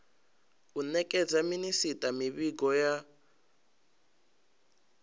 u nekedza minisita mivhigo ya